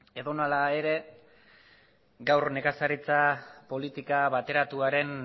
edonola ere gaur nekazaritza politika bateratuaren